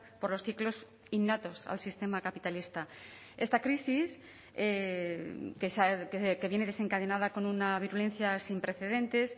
por los ciclos innatos al sistema capitalista esta crisis que viene desencadenada con una virulencia sin precedentes